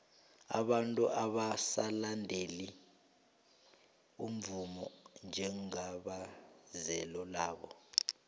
abantu abasalandeli umvumo njengebizelo labo